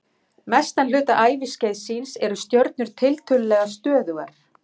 Mestan hluta æviskeiðs síns eru stjörnur tiltölulega stöðugar.